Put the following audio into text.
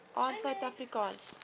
aan suid afrikaanse